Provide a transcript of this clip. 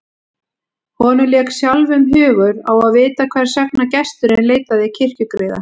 Honum lék sjálfum hugur á að vita hvers vegna gesturinn leitaði kirkjugriða.